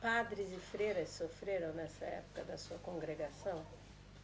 Padres e freiras sofreram nessa época da sua congregação?